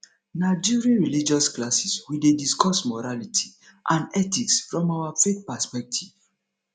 na during religious classes we dey discuss morality and ethics from our faith perspective